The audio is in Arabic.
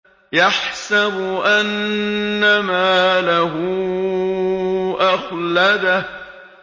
يَحْسَبُ أَنَّ مَالَهُ أَخْلَدَهُ